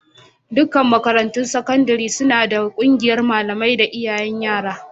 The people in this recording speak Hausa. Dukkan makarantun sakandare suna da ƙungiyar malamai da iyayen yara.